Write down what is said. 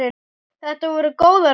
Þetta voru góðar ferðir.